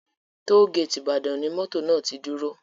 Tollgate Ibadan ni mọ́tò náà ti dúró